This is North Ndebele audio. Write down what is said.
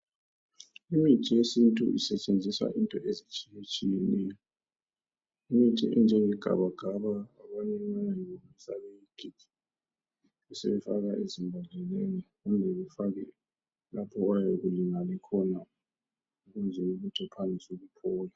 Imithi yesintu isetshenziswa into ezitshiyatshiyeneyo imithi enjenge gabagaba abanye bayayilungisa bayigige besebeyifaka ezibhodleleni kumbe befake lapha oyabe ulimale khona ukwenzela ukuthi uqalise ukuphola.